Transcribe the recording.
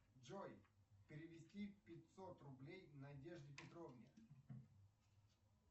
джой перевести пятьсот рублей надежде петровне